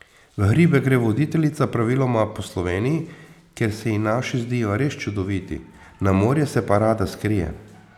V hribe gre voditeljica praviloma po Sloveniji, ker se ji naši zdijo res čudoviti, na morje se pa rada skrije.